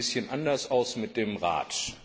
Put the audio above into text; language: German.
Es sieht ein bisschen anders aus mit dem Rat.